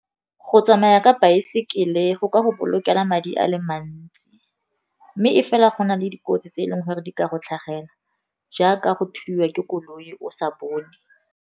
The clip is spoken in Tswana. Go tsamaya ka baesekele go ka go bolokela madi a le mantsi, mme e fela go na le dikotsi tse e leng gore di ka go tlhagela, jaaka go thuliwa ke koloi o sa bone.